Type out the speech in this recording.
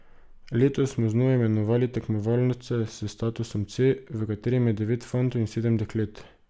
Letos smo znova imenovali tekmovalce s statusom C, v katerem je devet fantov in sedem deklet.